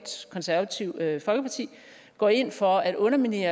konservative går ind for at underminere